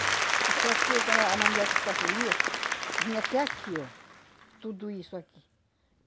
Isso aqui, quando a a mandioca escapulia, vinha até aqui, ó. Tudo isso aqui.